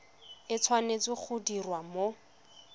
e tshwanetse go diriwa mo